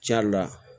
Ca la